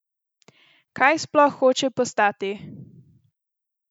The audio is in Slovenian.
Kaj sploh hoče postati?